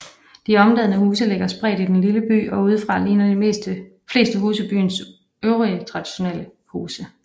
De omdannede huse ligger spredt i den lille by og udefra ligner de fleste huse byens øvrige traditionelle huse